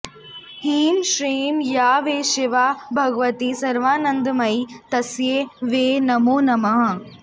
ह्रीं श्रीं या वै शिवा भगवती सर्वानन्दमयी तस्यै वै नमो नमः